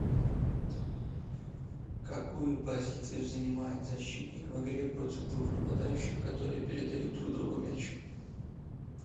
какую позицию занимает защитник в игре против двух нападающих которые передают друг другу мяч